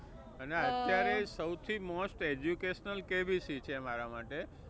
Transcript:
અને અત્યારે સૌથી most educational KBC છે મારા માટે